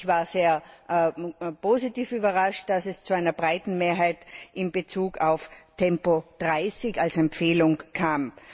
Ich war sehr positiv überrascht, dass es zu einer breiten Mehrheit in Bezug auf Tempo 30 als Empfehlung kam.